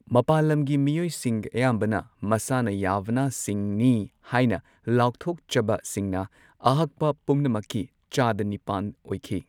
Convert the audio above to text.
ꯃꯄꯥꯜ ꯂꯝꯒꯤ ꯃꯤꯑꯣꯏꯁꯤꯡ, ꯑꯌꯥꯝꯕꯅ ꯃꯁꯥꯅ ꯌꯥꯚꯥꯅꯥꯁꯤꯡꯅꯤ ꯍꯥꯏꯅ ꯂꯥꯎꯊꯣꯛꯆꯕꯁꯤꯡꯅ, ꯑꯍꯛꯄ ꯄꯨꯝꯅꯃꯛꯀꯤ ꯆꯥꯗ ꯅꯤꯄꯥꯟ ꯑꯣꯏꯈꯤ꯫